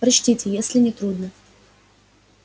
прочтите если не трудно